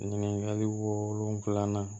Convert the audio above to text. Ɲininkali wolonfila